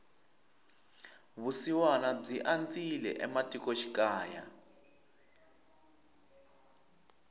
vusiwana byi andzile ematiko xikaya